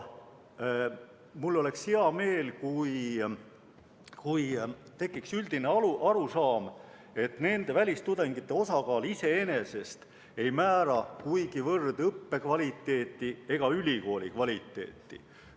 Mul oleks hea meel, kui tekiks üldine arusaam, et välistudengite osakaal iseenesest ei määra kuigivõrd õppekvaliteeti ega ülikooli kvaliteeti.